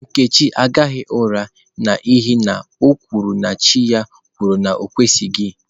Nkechi agaghi ura n'ihi na o kwuru na chi ya kwuru na o kwesịghị.